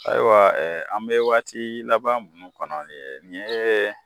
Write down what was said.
Ayiwa ɛɛ an be waati laban munnu kɔnɔ nin ye